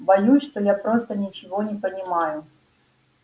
боюсь что я просто ничего не понимаю